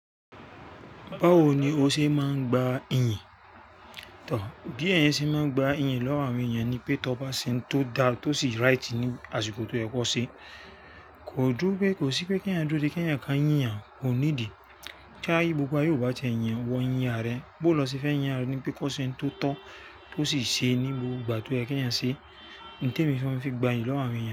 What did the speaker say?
Báwo ni o ṣe máa ń gba iyìn? Tọ̀, bí ẹ̀eyan ṣe máa ń gba iyì lọ́wọ́ àwọn èèyàn ni pé tó bá ṣe n tó dá tó sì right ní àsìkò tó yẹ kó ṣe. Kò dú pé, kò sí pé kí ẹ̀eyan dúró dé kí ẹ̀eyan ká yín o, kò need i. Kí ni gbogbo ayé ò bá ti ẹ́ yin o, ìwọ̀n yín àra rẹ. Bó lọ ṣe fẹ́ yín àrẹ̀ ni pé, kó ṣe óun tó tọ́, kó sì ṣe ní gbogbo ìgbà tó yẹ kí eyan ṣe. Ohun te mi máa ń fi gbayìí lọ́wọ́ àwọn èyàn.